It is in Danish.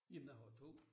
Jamen jeg har to